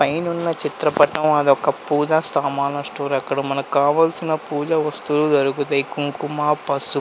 పైనున్న చిత్రపటం అదొక పూజ సామాన్లు స్టోర్ అక్కడ మనకు కావలసిన పూజ వస్తువులు దొరుకుతాయి కుంకుమ పసుపు --